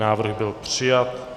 Návrh byl přijat.